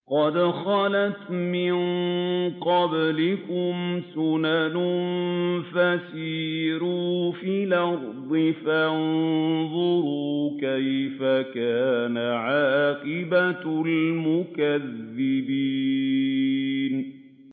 قَدْ خَلَتْ مِن قَبْلِكُمْ سُنَنٌ فَسِيرُوا فِي الْأَرْضِ فَانظُرُوا كَيْفَ كَانَ عَاقِبَةُ الْمُكَذِّبِينَ